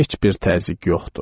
Heç bir təzyiq yoxdu.